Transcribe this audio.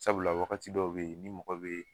Sabula wagati dɔw be yen ni mɔgɔ be yen